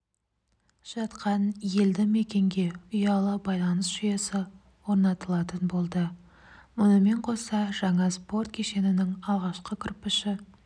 жатқан елді мекенге ұялы байланыс жүйесі орнатылатын болды мұнымен қоса жаңа спорт кешенінің алғашқы кірпіші